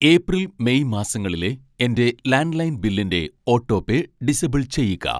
April, May മാസങ്ങളിലെ എൻ്റെ landline ബില്ലിൻ്റെ ഓട്ടോപേ ഡിസബിൾ ചെയ്യുക